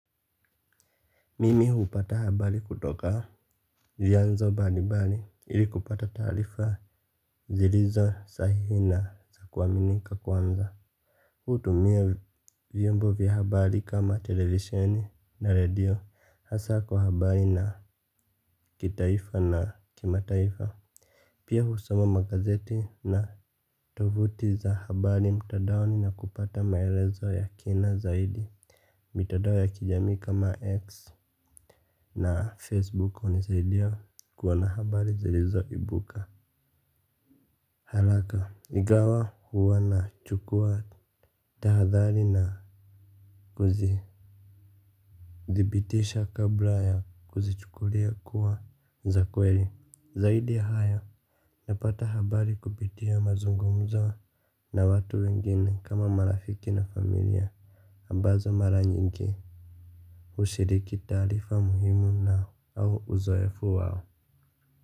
Mimi hupata habali kutoka vyanzo mbalimbali ili kupata taarifa zilizo sahihi na za kuaminika kwanza. Hutumia vyombo vya habali kama televisheni na redio hasa kwa habali na kitaifa na kimataifa. Pia husoma magazeti na tovuti za habali mtadaoni na kupata maelezo ya kina zaidi. Mitadao ya kijamii kama X Na Facebook unisaidia kuwa na habari zilizoibuka. Haraka ingawa huwa nachukua tahadhali na kuzidhibitisha kabla ya kuzichukulia kuwa za kweli zaidi ya haya. Napata habari kupitia mazungumzo na watu wengine kama marafiki na familia ambazo mara nyingi hushiriki taarifa muhimu au uzoefu wao.